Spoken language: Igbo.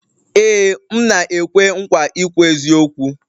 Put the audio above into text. Ee m na-ekwe nkwa ikwu eziokwu